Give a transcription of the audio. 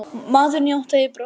Maðurinn játaði brot sín